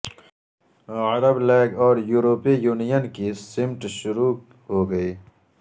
عرب league اور یورپی union کی سمٹ شروع ہو گئی